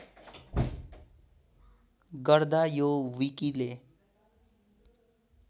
गर्दा यो विकिले